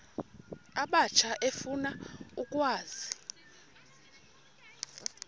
abatsha efuna ukwazi